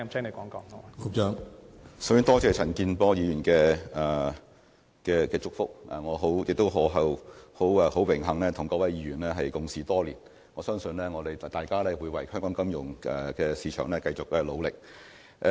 首先，多謝陳健波議員的祝福，我也很榮幸能夠與各位議員共事多年，相信大家仍會為香港的金融市場繼續努力。